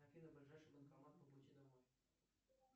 афина ближайший банкомат по пути домой